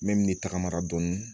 N bɛ min tagamara dɔni